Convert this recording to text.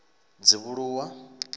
dzivhuluwa